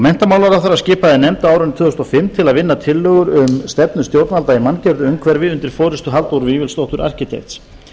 nefnd á árinu tvö þúsund og fimm til að vinna tillögur um stefnu stjórnvalda í manngerðu umhverfi undir forystu halldóru vífilsdóttur arkitekts